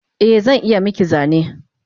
Eh zan iya miki zane